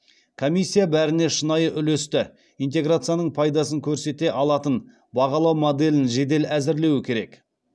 комиссия бәріне шынайы үлесті интеграцияның пайдасын көрсете алатын бағалау моделін жедел әзірлеуі керек